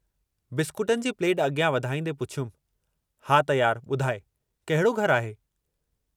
बिस्कुटनि जी प्लेट अॻियां वधाईंदे पुछियुमि हा त यार ॿुधाइ कहिड़ो घरु आहे?